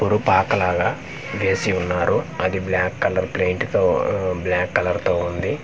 ఉరుపాక లాగా వేసి ఉన్నారు అది బ్లాక్ కలర్ ప్లెయింట్ తో ఉ బ్లాక్ కలర్ తో ఉంది.